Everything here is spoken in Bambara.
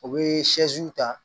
U bɛ ta